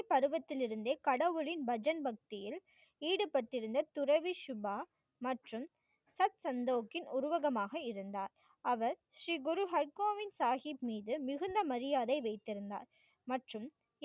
குழந்தை பருவத்திலிருந்தே கடவுளின் பஜன் பக்தியில் ஈடுபட்டிருந்த துறவி சுபா மற்றும் சத்சன்தோகி உருகவமாக இருந்தார். அவர் ஸ்ரீ குரு ஹைல்கோவின் சாகித் மீது மிகுந்த மரியாதை வைத்திருந்தார் மற்றும்